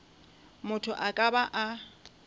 motho a ka ba a